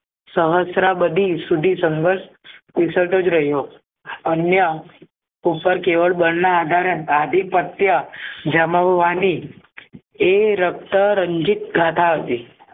શહસ્ત્રા બદલી શુદ્ધિ સંઘર્ષ ઉષરધ જ રહ્યો અન્ય ઉપર કેવળ બાલન આધારે આધિપત્ય જમાવવાની એ રક્ત રનજીત કઢાવી